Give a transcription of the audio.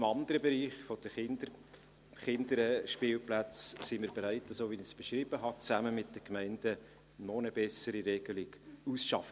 Im anderen Bereich der Kinderspielplätze sind wir bereit, so wie ich es beschrieben habe, zusammen mit den Gemeinden noch eine bessere Regelung auszuarbeiten.